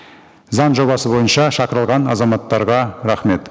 заң жобасы бойынша шақырылған азаматтарға рахмет